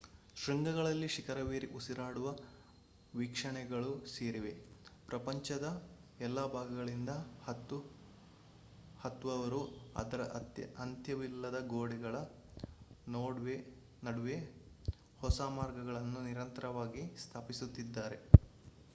ಶೃಂಗಗಳಲ್ಲಿ ಶಿಖರವೇರಿ ಉಸಿರಾಡುವ ವೀಕ್ಷಣೆಗಳು ಸೇರಿವೆ ಪ್ರಪಂಚದ ಎಲ್ಲಾ ಭಾಗಗಳಿಂದ ಹತ್ತುವವರು ಅದರ ಅಂತ್ಯವಿಲ್ಲದ ಗೋಡೆಗಳ ನಡುವೆ ಹೊಸ ಮಾರ್ಗಗಳನ್ನು ನಿರಂತರವಾಗಿ ಸ್ಥಾಪಿಸುತ್ತಿದ್ದಾರೆ